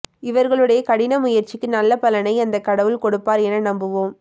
இவர்களுடைய கடின முயற்சிக்கு நல்ல பலனை அந்த கடவுள் கொடுப்பார் என நம்புவோம்